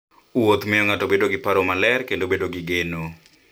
Wuoth miyo ng'ato bedo gi paro maler kendo bedo gi geno.